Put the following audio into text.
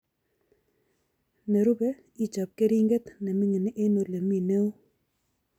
Nerube ichob keringet neming'in eng olemii neoo